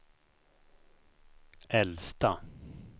äldsta